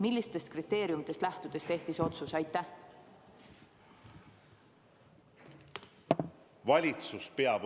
Millistest kriteeriumidest lähtudes tehti see otsus?